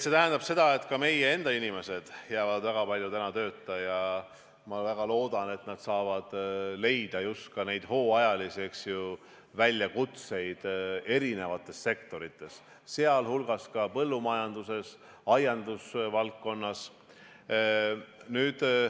See tähendab, et ka meie enda inimesed jäävad väga palju tööta, ja ma väga loodan, et nad saavad leida just ka neid hooajalisi, eks ju, väljakutseid eri sektorites, sh põllumajanduses, aiandusvaldkonnas.